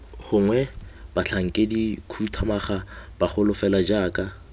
gongwe batlhankedikhuduthamaga bagolo fela jaaka